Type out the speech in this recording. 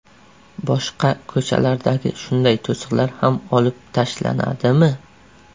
Boshqa ko‘chalardagi shunday to‘siqlar ham olib tashlanadimi?